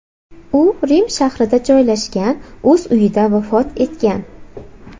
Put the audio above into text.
U Rim shahrida joylashgan o‘z uyida vafot etgan.